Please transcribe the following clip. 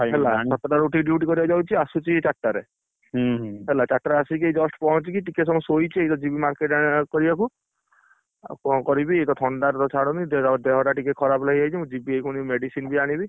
ହେଲା ସାତ ଟା ରୁ ଉଠିକି duty କରିଆକୁ ଯାଉଛି ଆସୁଛି ଚାରିଟା ରେ, ହେଲା ଚାରିଟା ରେ ଆସିକି ଏଇ just ପହଁଚିକି ଟିକେ ସମୟ ସୋଇଛି ଏଇତ ଯିମି market କରିଆକୁ। ଆଉ କଣ କରିବି ଇଏ ତ ଥଣ୍ଡା ତ ଛାଡ଼ୁନି ଦେହ ଟା ଟିକେ ଖରାପ ହେଇଯାଇଛି ମୁ ଯିବି ପୁଣି medicine ବି ଆଣିବି।